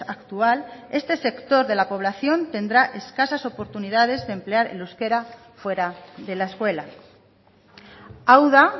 actual este sector de la población tendrá escasas oportunidades de emplear el euskera fuera de la escuela hau da